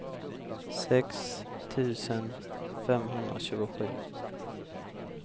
sex tusen femhundratjugosju